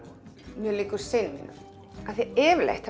mjög líkur syni mínum af því yfirleitt